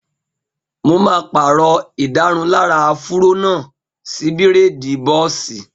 Mo máa pàrọ̀ ìdárunlárà áfúró náà sí bírèèdì bọ́ọ̀sì